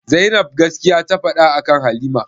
Zainab gaskiya ta faɗa akan halima?